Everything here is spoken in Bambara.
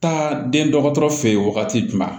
Taa den dɔgɔtɔrɔ fɛ yen wagati jumɛn